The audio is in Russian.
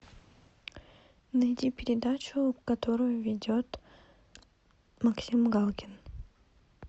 найди передачу которую ведет максим галкин